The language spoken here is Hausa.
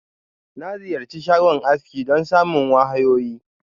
Na Ziyarchi shagon aski don samun wahayoyi.